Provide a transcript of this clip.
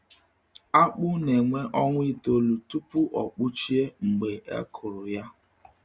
Akpụ na-ewe ọnwa itoolu tupu ọ kpụchie mgbe e kụrụ ya.